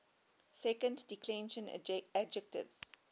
second declension adjectives